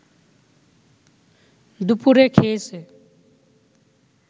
দুপুরে খেয়েছে